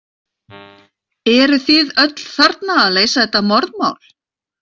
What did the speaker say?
Eruð þið öll þarna að leysa þetta morðmál?